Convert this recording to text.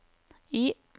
Y